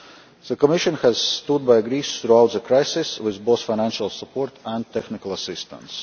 The Commission has stood by Greece throughout the crisis with both financial support and technical assistance.